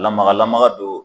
Lamagalamaga don